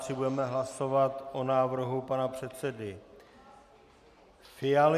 Budeme hlasovat o návrhu pana předsedy Fialy.